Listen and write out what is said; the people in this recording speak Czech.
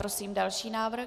Prosím další návrh.